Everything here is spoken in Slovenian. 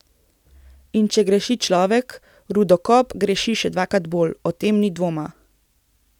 In če greši človek, rudokop greši še dvakrat bolj, o tem ni dvoma.